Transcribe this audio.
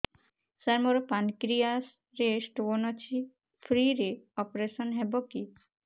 ସାର ମୋର ପାନକ୍ରିଆସ ରେ ସ୍ଟୋନ ଅଛି ଫ୍ରି ରେ ଅପେରସନ ହେବ କି